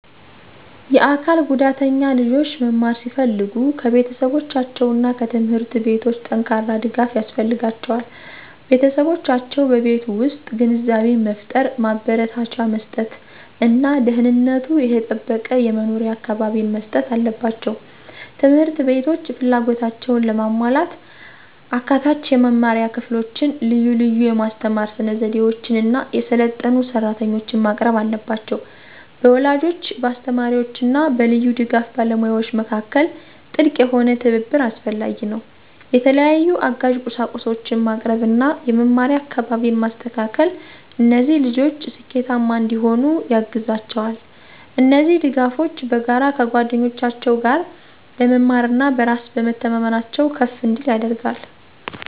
የአካል ጉዳተኛ ልጆች መማር ሲፈልጉ ከቤተሰቦቻቸው እና ከትምህርት ቤቶች ጠንካራ ድጋፍ ያስፈልጋቸዋል። ቤተሰቦቻቸው በቤት ውስጥ ግንዛቤን መፍጠር፣ ማበረታቻ መስጥት እና ደህንነቱ የተጠበቀ የመኖሪያ አካባቢን መስጠት አለባቸው። ት/ቤቶች ፍላጎታቸውን ለማሟላት አካታች የመማሪያ ክፍሎችን፣ ልዩ ልዩ የማስተማር ስነዘዴዎችን እና የሰለጠኑ ሰራተኞችን ማቅረብ አለባቸው። በወላጆች፣ በአስተማሪዎች እና በልዩ ድጋፍ ባለሙያዎች መካከል ጥልቅ የሆነ ትብብር አስፈላጊ ነው። የተለያዩ አጋዥ ቁሳቁሶችን ማቅረብ እና የመማሪያ አካባቢን ማስተካከል እነዚህ ልጆች ስኬታማ እንዲሆኑ ያግዛቸዋል። እነዚህ ድጋፎች በጋራ ከጓደኞቻቸው ጋር ለመማር እና በራስ በመተማመናቸው ከፍ እንዲል ያደርጋል።